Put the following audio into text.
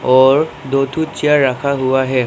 और दो ठो चेयर रखा हुआ है।